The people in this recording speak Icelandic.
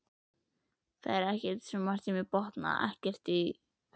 Það er margt sem ég botna ekkert í, hugsar